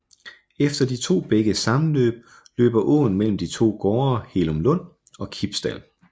Efter de to bækkes sammenløb løber åen mellem de to gårde Hellumlund og Kibsdal